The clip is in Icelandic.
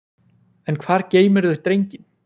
En hvar geymirðu drenginn?